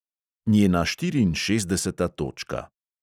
Njena štiriinšestdeseta točka.